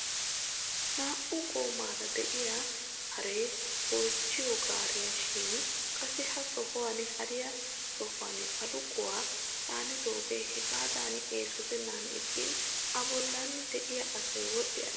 Naa"u goomaara de'iyaa haree goochchiyoo gaariyaa shin qassi ha sohuwaan hariyaa sohuwaan baluqquwaa caanidoogee hegaadan esottenan ixxin a bollan de'iyaa asay wodhi aggiis!